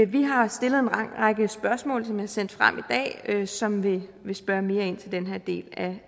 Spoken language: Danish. vi har stillet en lang række spørgsmål som er sendt frem i dag og som vil vil spørge mere ind til den her del